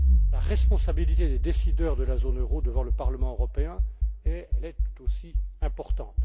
La responsabilité des décideurs de la zone euro devant le Parlement européen est tout aussi importante.